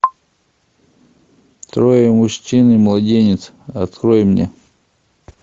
трое мужчин и младенец открой мне